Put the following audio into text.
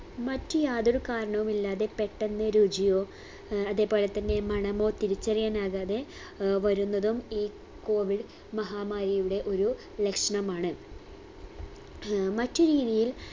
മറ്റു യാതൊരു കാരണവുമില്ലാതെ പെട്ടെന്ന് രുചിയോ ഏർ അതേപോലെ തന്നെ മണമോ തിരിച്ചറിയാനാകാതെ ഏർ വരുന്നതും ഈ COVID മഹാമാരിയുടെ ഒരു ലക്ഷണമാണ് ആഹ് മറ്റുരീതിയിൽ